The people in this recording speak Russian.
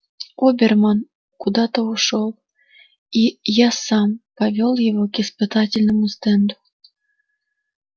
оберман куда-то ушёл и я сам повёл его к испытательному стенду